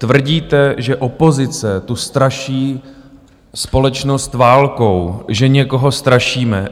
Tvrdíte, že opozice tu straší společnost válkou, že někoho strašíme.